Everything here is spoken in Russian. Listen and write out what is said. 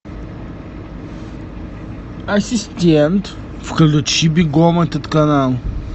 ассистент включи бегом этот канал